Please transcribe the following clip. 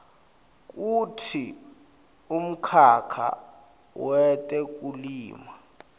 kutsi umkhakha wetekulima